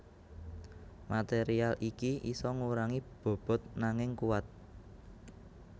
Material iki isa ngurangi bobot nanging kuat